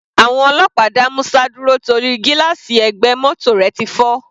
Àwọn ọlọ́pàá dá Musa dúró torí gílààsì ẹ̀gbẹ́ mótò rẹ̀ ti fọ́.